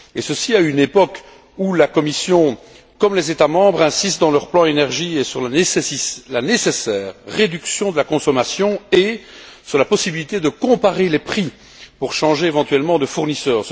Ceci à une époque où la Commission, comme les États membres, insistent, dans leurs plans énergie, et sur la nécessaire réduction de la consommation, et sur la possibilité de comparer les prix pour changer éventuellement de fournisseur.